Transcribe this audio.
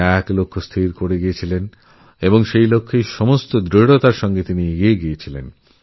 তিনি একটা লক্ষ্য স্থির করেছেন এবং পূর্ণোদ্যমে সেই লক্ষ্যপূরণে এগিয়ে গেছেন এগোতেই থেকেছেন